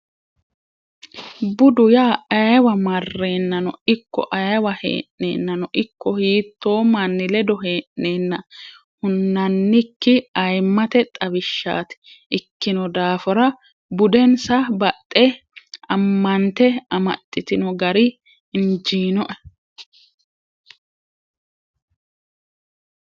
Budu yaa ayeewa marrenano ikko ayeewa hee'nennano ikko hiitto manni ledo hee'nenna hunannikki ayimmate xawishshati ikkino daafira budensa baxe ammante amaxitino gari injinoe.